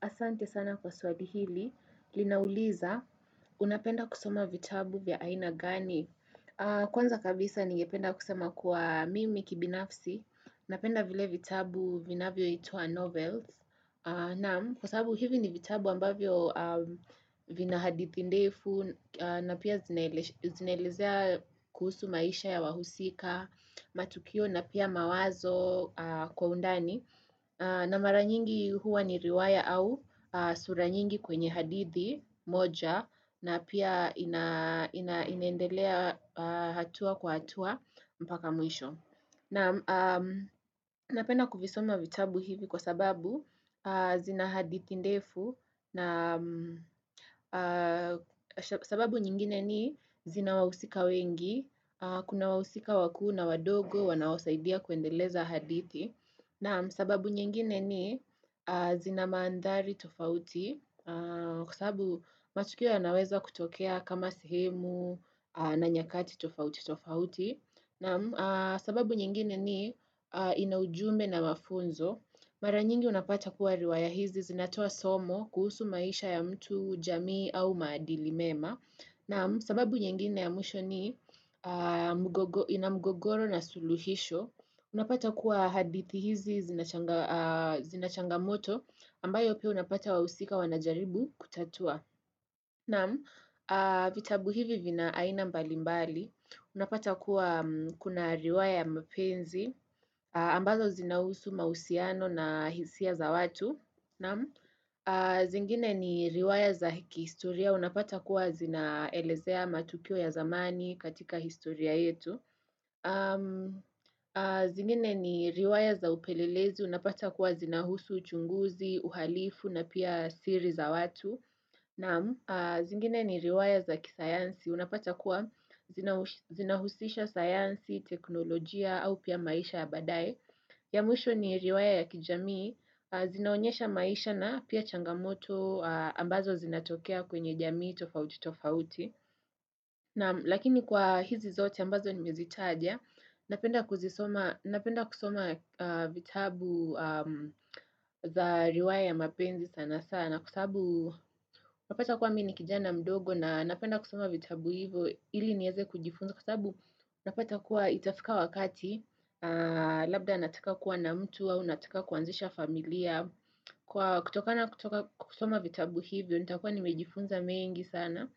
Asante sana kwa swali hili. Linauliza, unapenda kusoma vitabu vya aina gani. Kwanza kabisa ningependa kusema kuwa mimi kibinafsi. Napenda vile vitabu vinavyoitwa novels. Na, kwa sababu hivi ni vitabu ambavyo vina hadithi ndefu, na pia zinaelezea kuhusu maisha ya wahusika, matukio, na pia mawazo kwa undani. Na mara nyingi huwa ni riwaya au sura nyingi kwenye hadithi moja na pia inaendelea hatua kwa hatua mpaka mwisho. Napenda kuvisoma vitabu hivi kwa sababu zina hadithi ndefu na sababu nyingine ni zina wahusika wengi, kuna wahusika wakuu na wadogo wanaosaidia kuendeleza hadithi. Naam, sababu nyingine ni zina manthari tofauti kwa sabu matukio yanaweza kutokea kama sehemu na nyakati tofauti tofauti. Naam, sababu nyingine ni ina ujumbe na mafunzo. Mara nyingi unapata kuwa riwaya hizi zinatoa somo kuhusu maisha ya mtu jamii au maadili mema. Naam, sababu nyingine ya mwisho ni ina mgogoro na suluhisho. Unapata kuwa hadithi hizi zina changamoto ambayo pia unapata wahusika wanajaribu kutatua. Naam, vitabu hivi vina aina mbalimbali. Unapata kuwa kuna riwaya ya mapenzi ambazo zinahusu mausiano na hisia za watu. Zingine ni riwaya za hi kihistoria. Unapata kuwa zinaelezea matukio ya zamani katika historia yetu. Zingine ni riwaya za upelelezi, unapata kuwa zinahusu, uchunguzi, uhalifu na pia siri za watu Naam zingine ni riwaya za kisayansi, unapata kuwa zinahusisha sayansi, teknolojia au pia maisha ya baadaye ya mwusho ni riwaya ya kijamii, zinaonyesha maisha na pia changamoto ambazo zinatokea kwenye jamii tofauti tofauti Lakini kwa hizi zote ambazo nimezitaja Napenda kusoma vitabu za riwaya ya mapenzi sana sana Kwa sabu unapata kuwa mi ni kijana mdogo na napenda kusoma vitabu hivyo ili nieze kujifunza kwa sabu unapata kuwa itafika wakati Labda nataka kuwa na mtu au nataka kuanzisha familia kutokana kutoka kusoma vitabu hivyo nitakuwa nimejifunza mengi sana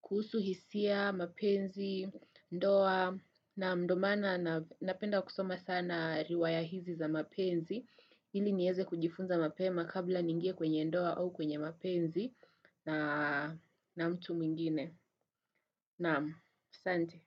kuhusu hisia, mapenzi, ndoa naam, ndo maana napenda kusoma sana riwaya hizi za mapenzi ili nieze kujifunza mapema kabla niingie kwenye ndoa au kwenye mapenzi na mtu mwengine Naam, santi.